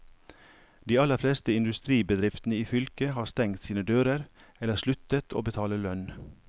De aller fleste industribedriftene i fylket har stengt sine dører, eller sluttet å betale lønn.